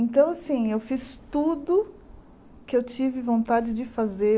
Então, assim, eu fiz tudo que eu tive vontade de fazer.